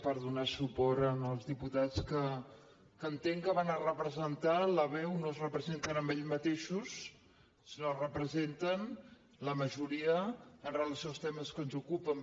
per donar suport als diputats que entenc que van a representar la veu no es representen a ells mateixos sinó que representen la majoria amb relació als temes que ens ocupen